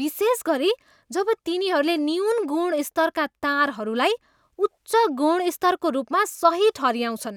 विशेष गरी जब तिनीहरूले न्यून गुणस्तरका तारहरूलाई उच्च गुणस्तरको रूपमा सही ठहऱ्याउँछन्।